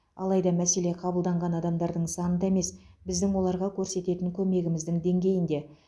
алайда мәселе қабылданған адамдардың санында емес біздің оларға көрсететін көмегіміздің деңгейінде